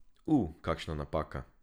U, kakšna napaka.